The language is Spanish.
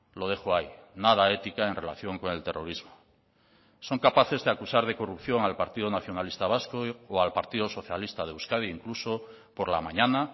lo dejo ahí nada ética en relación con el terrorismo son capaces de acusar de corrupción al partido nacionalista vasco o al partido socialista de euskadi incluso por la mañana